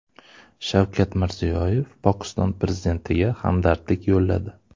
Shavkat Mirziyoyev Pokiston prezidentiga hamdardlik yo‘lladi.